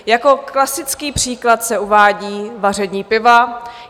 Jako klasický příklad se uvádí vaření piva.